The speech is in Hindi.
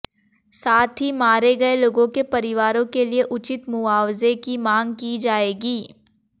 साथ ही मारे गए लोगों के परिवारों के लिए उचित मुआवजे की मांग की जाएगी